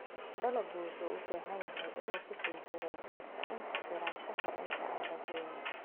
Dalaggu wuxuu u baahan yahay inuu ku sii jiro beerta in ku filan ka hor inta aan la goyn.